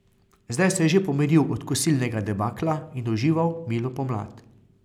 Zdaj se je že pomiril od kosilnega debakla in užival milo pomlad.